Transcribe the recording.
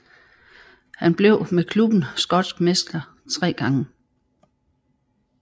Han blev med klubben skotsk mester tre gange